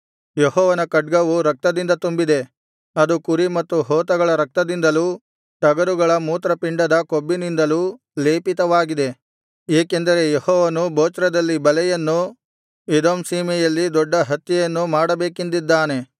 ಯೆಹೋವನ ಖಡ್ಗವು ರಕ್ತದಿಂದ ತುಂಬಿದೆ ಅದು ಕುರಿ ಮತ್ತು ಹೋತಗಳ ರಕ್ತದಿಂದಲೂ ಟಗರುಗಳ ಮೂತ್ರಪಿಂಡದ ಕೊಬ್ಬಿನಿಂದಲೂ ಲೇಪಿತವಾಗಿದೆ ಏಕೆಂದರೆ ಯೆಹೋವನು ಬೊಚ್ರದಲ್ಲಿ ಬಲಿಯನ್ನೂ ಎದೋಮ್ ಸೀಮೆಯಲ್ಲಿ ದೊಡ್ಡ ಹತ್ಯೆಯನ್ನೂ ಮಾಡಬೇಕೆಂದಿದ್ದಾನೆ